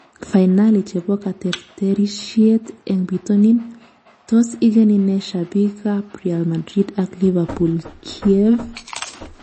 Fainali chebo kateterishiet eng bitonin: tos igeni ne shabik ab Real Madrid ak Liverpool Kiev?